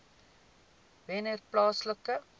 wennerplaaslike